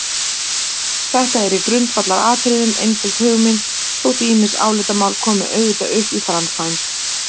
Þetta er í grundvallaratriðum einföld hugmynd þótt ýmis álitamál komi auðvitað upp í framkvæmd.